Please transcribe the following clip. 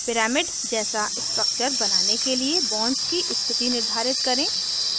pyramid pyramid जैसा structure बनाने के लिए bonds की स्थिति निर्धारित करें